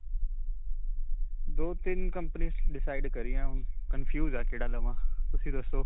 ਦੋ-ਤਿੰਨ companies decide ਕਰਿਆਂ, ਹੁਣ confuse ਆਂ ਕਿਹੜਾ ਲਵਾਂ. ਤੁਸੀਂ ਦੁਸੋ.